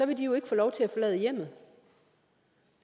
de jo ikke få lov til